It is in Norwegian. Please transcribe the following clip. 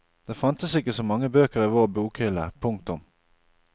Det fantes ikke så mange bøker i vår bokhylle. punktum